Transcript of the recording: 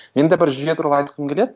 мен де бір жүйе туралы айтқым келеді